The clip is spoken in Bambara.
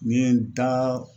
Ni n ye n daa